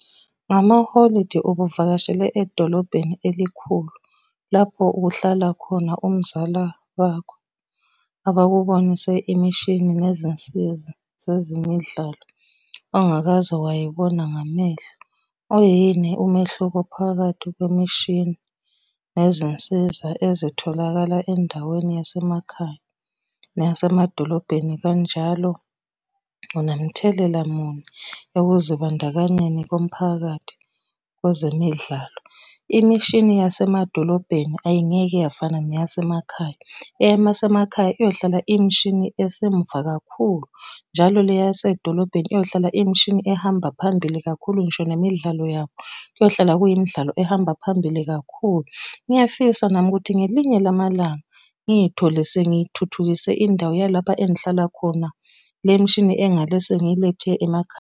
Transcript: Ngamaholidi ubuvakashele edolobheni elikhulu, lapho kuhlala khona umzala wakho abakubonise imishini nezinsiza zezemidlalo ongakaze wayibona ngamehlo. Uyini umehluko phakathi kwemishini nezinsiza ezitholakala endaweni yasemakhaya neyasemadolobheni? Kanjalo unamthelela muni ekuzibandakanyeni komphakathi kwezemidlalo? Imishini yasemadolobheni ayingeke yafana neyasemakhaya, eyamasemakhaya iyohlala iyimishini esemuva kakhulu. Njalo le yasedolobheni iyohlala imishini ehamba phambili kakhulu ngisho nemidlalo yayo, kuyohlala kuyimidlalo ehamba phambili kakhulu. Ngiyafisa nami ukuthi ngelinye lamalanga ngithole sengithuthukise indawo yalapha engihlala khona le mishini engale sengilethe .